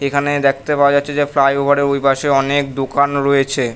এখানে দেখতে পাওয়া যাচ্ছে যে ফ্লাইওভার -এর ওই পাশে অনেক দোকান রয়েছে।